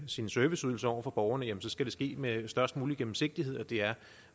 sine serviceydelser over for borgerne jamen så skal det ske med den størst mulige gennemsigtighed og det er